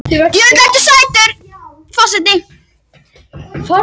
Hjörfríður, hvað er á dagatalinu mínu í dag?